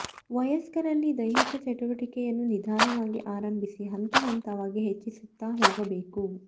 ವಯಸ್ಕರಲ್ಲಿ ದೈಹಿಕ ಚಟುವಟಿಕೆಯನ್ನು ನಿಧಾನವಾಗಿ ಆರಂಭಿಸಿ ಹಂತ ಹಂತವಾಗಿ ಹೆಚ್ಚಿಸುತ್ತ ಹೋಗಬೇಕು